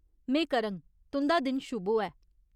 में करङ। तुं'दा दिन शुभ होऐ।